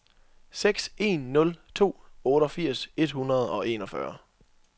seks en nul to otteogfirs et hundrede og enogfyrre